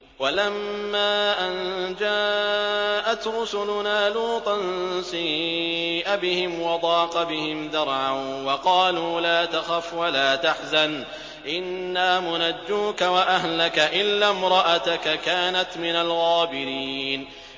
وَلَمَّا أَن جَاءَتْ رُسُلُنَا لُوطًا سِيءَ بِهِمْ وَضَاقَ بِهِمْ ذَرْعًا وَقَالُوا لَا تَخَفْ وَلَا تَحْزَنْ ۖ إِنَّا مُنَجُّوكَ وَأَهْلَكَ إِلَّا امْرَأَتَكَ كَانَتْ مِنَ الْغَابِرِينَ